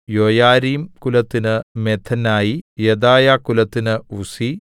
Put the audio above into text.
യോയാരീബ്കുലത്തിന് മഥെനായി യെദായാകുലത്തിന് ഉസ്സി